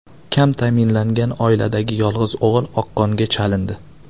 Kam ta’minlangan oiladagi yolg‘iz o‘g‘il oqqonga chalindi.